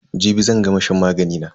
Jibi zan gama shan magani na.